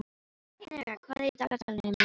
Henrika, hvað er í dagatalinu mínu í dag?